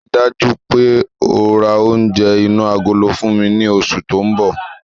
Ríi dájú wípé ó rá oúnjẹ inú agolo fún mi ní oṣù tóun bọ̀